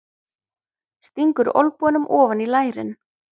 Stingur olnbogunum ofan í lærin.